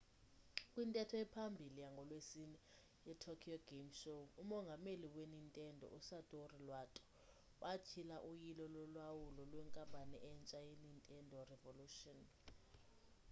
kwintetho ephambili yangolwesine yetokyo game show umongameli wenintendo usatoru iwata watyhila uyilo lolawulo lwenkampani entsha yenintendo revolution